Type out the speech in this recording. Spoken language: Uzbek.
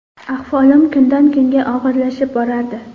Ahvolim kundan kunga og‘irlashib borardi.